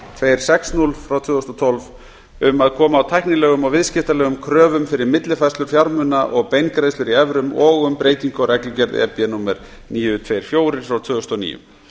hundruð og sextíu tvö þúsund og tólf um að koma á tæknilegum og viðskiptalegum kröfum fyrir millifærslur fjármuna og beingreiðslur í evrum og um breytingu á reglugerð númer níu hundruð tuttugu og fjögur tvö þúsund og níu